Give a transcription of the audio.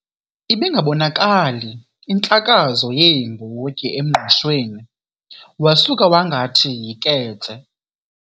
Ibingabonakali intlakazo yeembotyi emngqushweni wasuka wangathi yiketse.